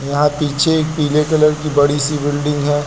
यहाँ पीछे एक पीले कलर की बड़ी सी बिल्डिंग है।